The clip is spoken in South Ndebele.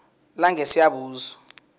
langesiyabuswa